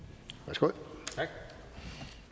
fru